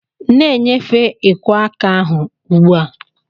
Na-enyefe ikwo aka ahu ugbu a!